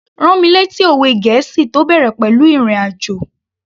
Rán mi lẹ́tí òwe gẹ̀ẹ́sì tó bẹ̀rẹ̀ pẹ̀lú ìrìn àjò